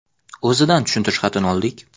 O‘zidan tushuntirish xatini oldik.